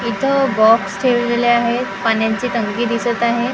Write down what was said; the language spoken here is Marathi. इथं बॉक्स ठेवलेले आहेत पाण्याची टंकी दिसत आहे .